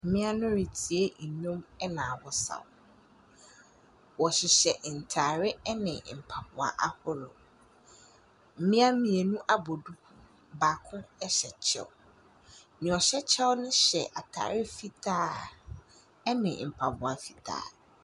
Ɛdɔmkuw bi abɔ be wɔ bea a wɔreyɛ nhyiam bi. Wɔn mpenyimfo no, gyina bea obiara bohu wɔn a wɔnye wɔn redzi nkitaho.